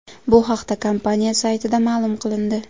Bu haqda kompaniya saytida ma’lum qilindi.